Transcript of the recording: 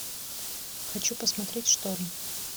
хочу посмотреть шторм